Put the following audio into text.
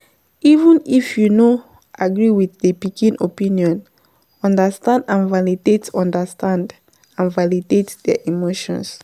Even if you no agree with di pikin opinion, understand and validate understand and validate their emotion